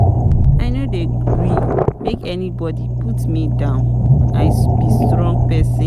I no dey gree make anybodi put me down, I be strong pesin.